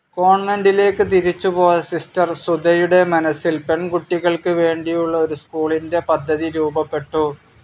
കോൺവെന്റിലേക്ക് തിരിച്ചു പോയ സിസ്റ്റർ സുധയുടെ മനസ്സിൽ പെൺകുട്ടികൾക്ക് വേണ്ടിയുള്ള ഒരു സ്കൂളിന്റെ പദ്ധതി രൂപപ്പെട്ടു.